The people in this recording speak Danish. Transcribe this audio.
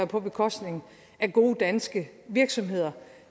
på bekostning af gode danske virksomheder